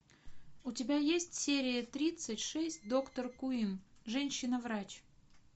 у тебя есть серия тридцать шесть доктор куин женщина врач